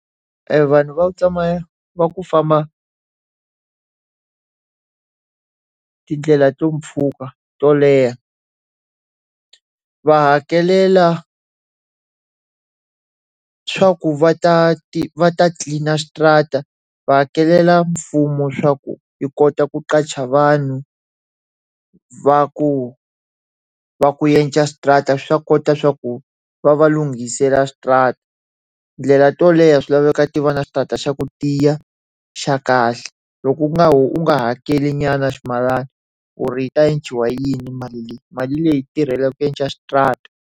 Evanhu va ku tsamaya va ku famba tindlela ta mpfhuka to leha, va hakelela swa ku va ta va ta tlilina switarata, va hakelela mfumo swa ku yi kota ku qasha vanhu va ku va ku endla switarata swa kota swa ku va va lunghisela switarata. Tindlela to leha swi laveka ti va na switarata xa ku tiya xa kahle. lLko u nga u nga hakelinyana ximalana, u ri xi ta endliwa hi yini mali leyi? Mali leyi tirhelaka ku endla xitarata.